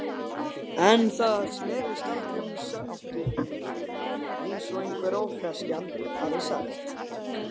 En það snerist aldrei um sanngirni, eins og einhver ófreskjan hafði sagt.